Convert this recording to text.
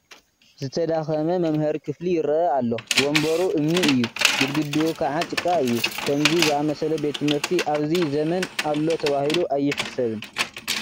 ዝተዳኸመ መምሃሪ ክፍሊ ይርአ ኣሎ፡፡ ወንበሩ እምኒ እዩ፡፡ ግድግድኡ ከዓ ጭቓ እዩ፡፡ ከምዚ ዝኣምሰለ ቤት ትምህርቲ ኣብዚ ዘመን ኣሎ ተባሂሉ ኣይሕሰብን፡፡